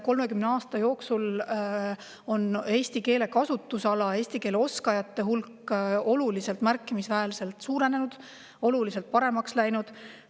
30 aasta jooksul on eesti keele kasutusala, eesti keele oskajate hulk märkimisväärselt suurenenud, oluliselt paremaks läinud.